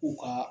U ka